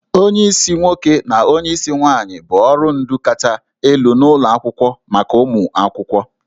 Onyeisi nwoke na onyeisi nwaanyị bụ ọrụ ndu kacha elu n'ụlọ akwụkwọ maka ụmụ akwụkwọ